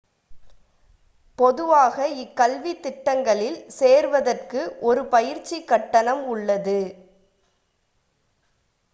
பொதுவாக இக்கல்வி திட்டங்களில் சேர்வதற்கு ஒரு பயிற்சி கட்டணம் உள்ளது